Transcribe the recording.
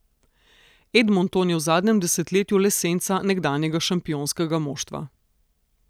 Edmonton je v zadnjem desetletju le senca nekdanjega šampionskega moštva.